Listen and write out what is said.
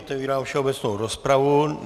Otevírám všeobecnou rozpravu.